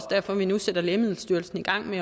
derfor at vi nu sætter lægemiddelstyrelsen i gang med